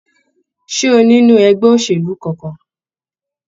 Ṣé o nínú ẹgbẹ́ òṣèlú kánkán?